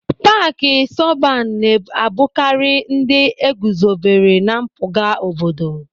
Paaki sọban na-abụkarị ndị e guzobere na mpụga obodo.